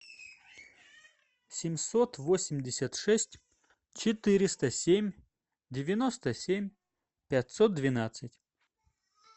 семьсот восемьдесят шесть четыреста семь девяносто семь пятьсот двенадцать